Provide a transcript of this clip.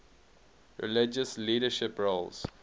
religious leadership roles